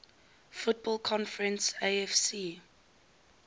football conference afc